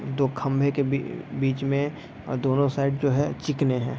दो खंभे के बी बीच में दोनों साइड जो है चिकने हैं।